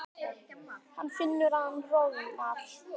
Hann finnur að hann roðnar.